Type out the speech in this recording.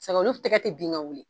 Sɛgɛ olu tɛgɛ te bin ka wuli